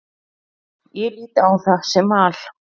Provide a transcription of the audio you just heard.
Ég lít á það sem val.